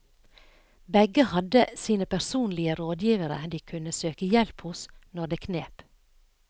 Begge hadde sine personlige rådgivere de kunne søke hjelp hos når det knep.